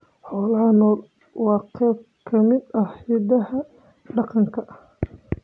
Xoolaha nool waa qayb ka mid ah hidaha dhaqanka.